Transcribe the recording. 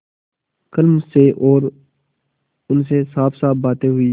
कल मुझसे और उनसे साफसाफ बातें हुई